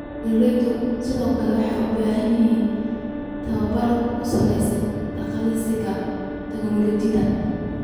Beeralayda sidoo kale waxay u baahan yihiin tababar ku saabsan adeegsiga tignoolajiyada.